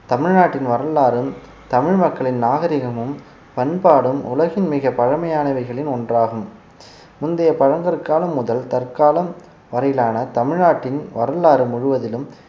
தமிழ்நாட்டின் வரலாறும் தமிழ் மக்களின் நாகரிகமும் பண்பாடும் உலகின் மிகப் பழமையானவைகளில் ஒன்றாகும் முந்தைய பழங்கற்காலம் முதல் தற்காலம் வரையிலான தமிழ்நாட்டின் வரலாறு முழுவதிலும்